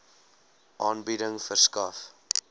aanbieding verskaf